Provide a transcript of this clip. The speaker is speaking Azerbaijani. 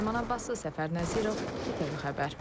Ləman Abbasova, Səfər Nəzirov, ITV xəbər.